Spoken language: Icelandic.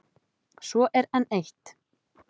Svo er enn eitt.